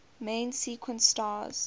main sequence stars